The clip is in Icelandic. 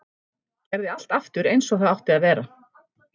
Gerði allt aftur eins og það átti að vera.